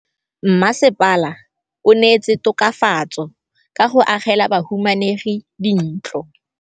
Mmasepala o neetse tokafatsô ka go agela bahumanegi dintlo.